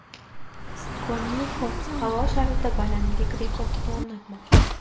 Konyuxov havo sharida balandlik rekordini o‘rnatmoqchi.